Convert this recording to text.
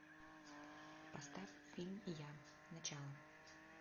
поставь фильм я начало